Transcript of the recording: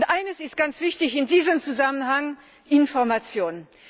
Eines ist ganz wichtig in diesem Zusammenhang Information!